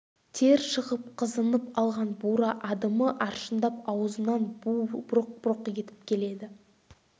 тер шығып қызынып алған бура адымы аршындап аузынан буы бұрқ-бұрқ етіп келеді